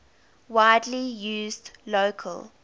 widely used local